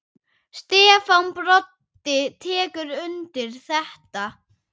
Stefán Broddi tekur undir þetta.